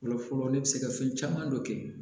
Fɔlɔ fɔlɔ ne bɛ se ka fɛn caman dɔ kɛ